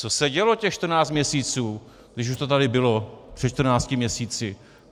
Co se dělo těch čtrnáct měsíců, když už to tady bylo před čtrnácti měsíci?